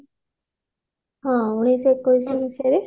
ହଁ ଉଣେଇଶ ଶହ ଏକୋଇଶି ମସିହାରେ